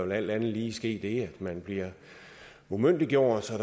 der alt andet lige ske det at man bliver umyndiggjort og